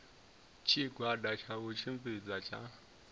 tshigwada tsha u tshimbidza tsha